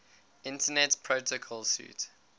internet protocol suite